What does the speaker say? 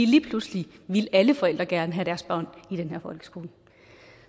lige pludselig ville alle forældre gerne have deres børn i den her folkeskole